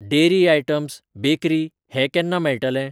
Dairy items, bakery हें केन्ना मेळटलें?